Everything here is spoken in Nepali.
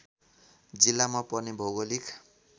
जिल्लामा पर्ने भौगोलिक